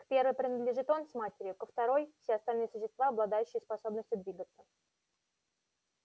к первой принадлежит он с матерью ко второй все остальные существа обладающие способностью двигаться